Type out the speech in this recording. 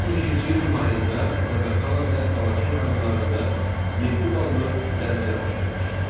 2012-ci ilin mayında Zaqatala və Balakən rayonlarında 7 ballıq zəlzələ baş vermişdi.